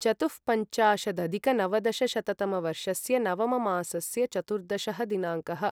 चतुःपञ्चाशदधिकनवदशशततमवर्षस्य नवममासस्य चतुर्दशः दिनाङ्कः